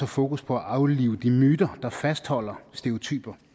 fokus på at aflive de myter der fastholder stereotype